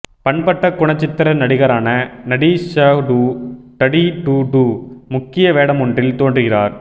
பண்பட்ட குணச்சித்திர நடிகரான நடீஹடூ டடீடூடூ முக்கிய வேடமொன்றில் தோன்றுகிறார்